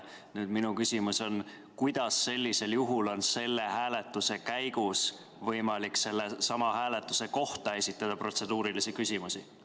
Nüüd minu küsimus on: kuidas sellisel juhul on selle hääletuse käigus võimalik sellesama hääletuse kohta esitada protseduurilisi küsimusi?